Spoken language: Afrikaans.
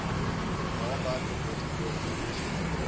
raamwerke beter koordinasie